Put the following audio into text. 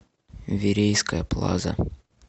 верейская плаза